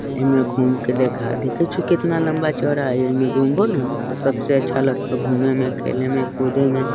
एम् घूम के देखा देखा कितना लम्बा चौड़ा हैय इमे घूमबो ना सब से अच्छा लगता हैय घूमे में खेले में कूदे में --